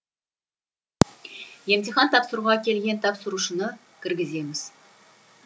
емтихан тапсыруға келген тапсырушыны кіргіземіз